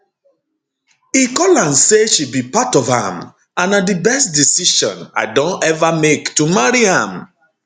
e call am say she be part of am and na di best decision i don ever make to marry am